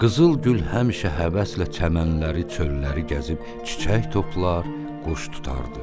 Qızılgül həmişə həvəslə çəmənləri, çölləri gəzib çiçək toplar, quş tutardı.